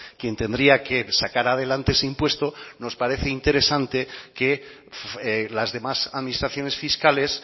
quien tendría que sacar adelante ese impuesto nos parece interesante que las demás administraciones fiscales